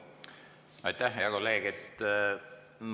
Aitäh, hea kolleeg!